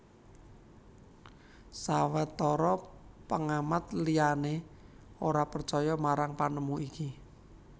Sawetara pengamat liyani ora percaya marang panemu iki